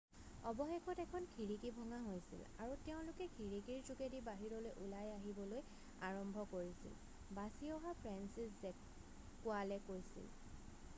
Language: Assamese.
অৱশেষত এখন খিৰিকি ভঙা হৈছিল আৰু তেওঁলোকে খিৰিকিৰ যোগেদি বাহিৰলৈ ওলাই আহিবলৈ আৰম্ভ কৰিছিল বাছি অহা ফ্ৰেন্সিছজেক কোৱালে কৈছিল